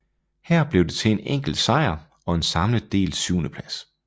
Her blev det til en enkelt sejr og en samlet delt syvendeplads